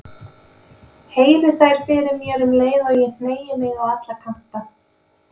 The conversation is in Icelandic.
Heyri þær fyrir mér um leið og ég hneigi mig á alla kanta.